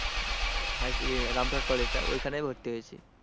Rampurhat college টা ঐখানে ভর্তি হয়েছি।